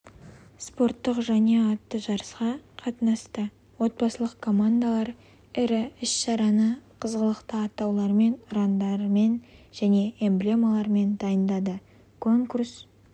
спорттық жанұя атты жарысқа қатынасты отбасылық командалар іс-шараны қызғылықты атаулармен ұрандармен және эмблемалармен дайындады конкурс